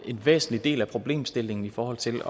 en væsentlig del af problemstillingen i forhold til